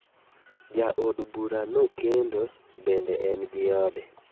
Ja od bura no okendo bende en gi ode.